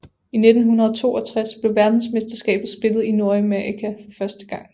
I 1962 blev verdensmesterskabet spillet i Nordamerika for første gang